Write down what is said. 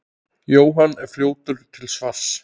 Jóhann er fljótur til svars.